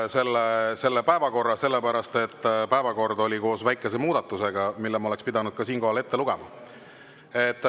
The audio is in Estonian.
Ma panen päevakorra uuesti hääletusele, sellepärast et päevakord on koos väikese muudatusega, mille ma oleks pidanud siinkohal ka ette lugema.